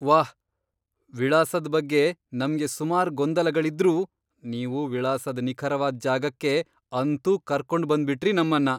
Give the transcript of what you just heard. ವಾಹ್! ವಿಳಾಸದ್ ಬಗ್ಗೆ ನಮ್ಗೆ ಸುಮಾರ್ ಗೊಂದಲಗಳಿದ್ರೂ ನೀವು ವಿಳಾಸದ್ ನಿಖರವಾದ್ ಜಾಗಕ್ಕೆ ಅಂತೂ ಕರ್ಕೊಂಡ್ ಬಂದ್ಬಿಟ್ರಿ ನಮ್ಮನ್ನ.